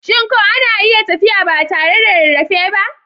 Shin ko ana iya tafiya ba tare da rarrafe ba?